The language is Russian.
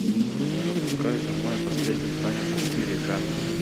запускай за мной последний танец четыре ка